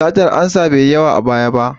Satar ansa bai yi yawa a baya ba.